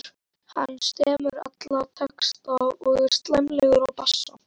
Hann semur alla texta og er sæmilegur á bassa.